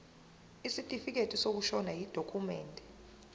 isitifikedi sokushona yidokhumende